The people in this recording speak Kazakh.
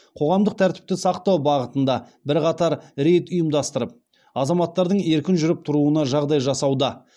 қоғамдық тәртіпті сақтау бағытында бірқатар рейд ұйымдастырып азаматтардың еркін жүріп тұруына жағдай жасауда